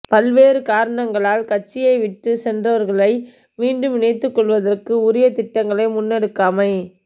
பல்வேறு காரணங்களால் கட்சியை விட்டுச்சென்றவர்களுக்ளை மீண்டும் இணைத்துக் கொள்வதற்கு உரிய திட்டங்களை முன்னெடுக்காமை